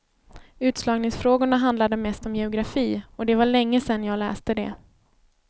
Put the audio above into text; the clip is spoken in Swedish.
Utslagningsfrågorna handlade mest om geografi och det var länge sedan jag läste det.